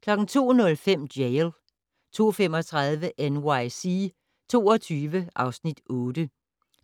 02:05: Jail 02:35: NYC 22 (Afs. 8)